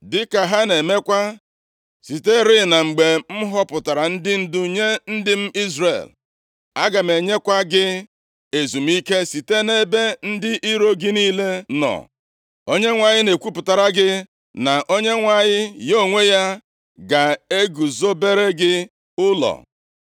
dịka ha na-emekwa siterị na mgbe m họpụtara ndị ndu nye ndị m Izrel. Aga m enyekwa gị ezumike site nʼebe ndị iro gị niile nọ. “‘ Onyenwe anyị na-ekwupụtara gị, na Onyenwe anyị ya onwe ya, ga-eguzobere gị ụlọ.